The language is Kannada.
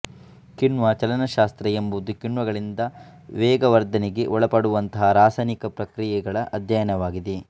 ಕಿಣ್ವ ಚಲನಶಾಸ್ತ್ರ ಎಂಬುದು ಕಿಣ್ವಗಳಿಂದ ವೇಗವರ್ಧನೆಗೆ ಒಳಪಡುವಂತಹ ರಾಸಾಯನಿಕ ಪ್ರತಿಕ್ರಿಯೆಗಳ ಅಧ್ಯಯನವಾಗಿದೆ